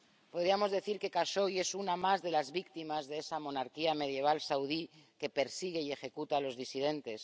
Podríamos decir que Jashogui es una más de las víctimas de esa monarquía medieval saudí que persigue y ejecuta a los disidentes.